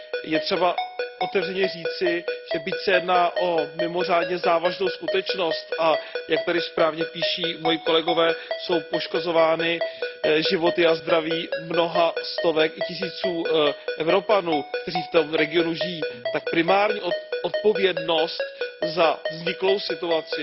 Je třeba otevřeně říci, že byť se jedná o mimořádně závažnou skutečnost, a jak tady správně píší moji kolegové, jsou poškozovány životy a zdraví mnoha stovek i tisíců Evropanů, kteří v tom regionu žijí, tak primární odpovědnost za vzniklou situaci